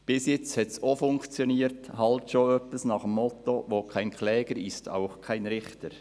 Bis jetzt hat es auch funktioniert, ganz nach dem Motto «Wo kein Kläger, ist auch kein Richter».